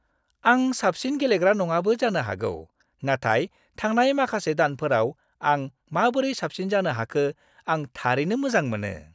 आं साबसिन गेलेग्रा नङाबो जानो हागौ, नाथाय थांनाय माखासे दानफोराव आं माबोरै साबसिन जानो हाखो, आं थारैनो मोजां मोनो।